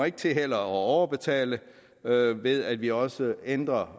ikke til at overbetale ved at vi også ændrer